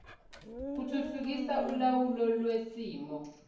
kuthuthukisa ulawulo lwesimo